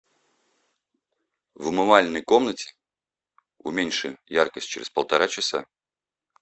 в умывальной комнате уменьши яркость через полтора часа